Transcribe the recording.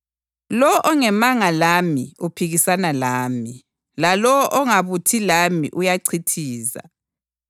Lowo ongemanga lami uphikisana lami, lalowo ongabuthi lami uyachithiza.